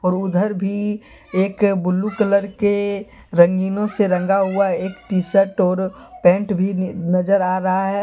और उधर भी एक ब्ल्यू कलर के रंगीनो से रंगा हुआ एक टी शर्ट और पैंट भी नजर आ रहा हैं।